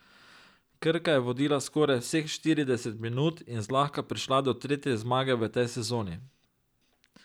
Krka je vodila skoraj vseh štirideset minut in zlahka prišla do tretje zmage v tej sezoni.